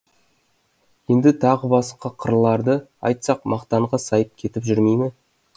енді тағы басқа қырларды айтсақ мақтанға сайып кетіп жүрмей ме